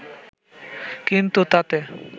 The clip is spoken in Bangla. কিন্তু তাতে